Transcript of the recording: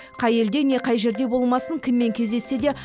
қай елде не қай жерде болмасын кіммен кездессе де